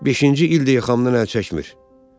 Beşinci ildir axamdan əl çəkmir.